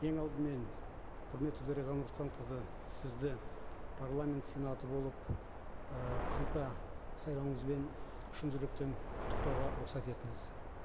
ең алдымен құрметті дариға нұрсұлтанқызы сізді парламент сенаты болып ыыы қайта сайлануыңызбен шын жүректен құттықтауға рұқсат етіңіз